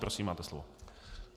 Prosím, máte slovo.